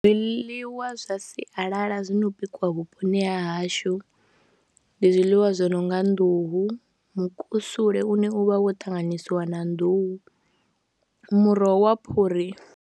Zwiḽiwa zwa sialala zwi no bikiwa vhuponi ha hashu ndi zwiḽiwa zwi no nga nḓuhu, mukusule une u vha wo ṱanganyisiwa na nḓuhu, muroho wa phuri.